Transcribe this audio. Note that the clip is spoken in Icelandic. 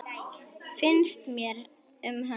Finnst mér um hana?